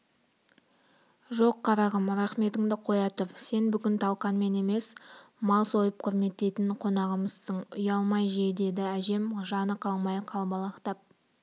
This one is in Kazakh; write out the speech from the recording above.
жоқ қарағым рақметіңді қоя тұр сен бүгін талқанмен емес мал сойып құрметтейтін қонағымызсың ұялмай же дейді әжем жаны қалмай қалбалақтап